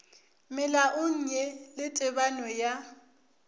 melaong ye le tebano ya